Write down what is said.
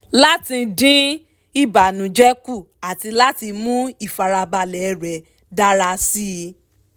láti dín ìbànújẹ kù àti láti mú ìfarabalẹ̀ rẹ̀ dára síi